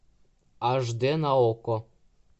аш дэ на окко